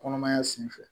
Kɔnɔmaya sen fɛ